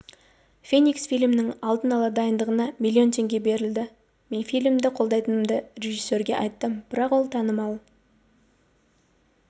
феникс фильмінің алдын ала дайындығына миллион теңге берілді мен фильмді қолдайтынымды режиссерге айттым бірақ ол танымал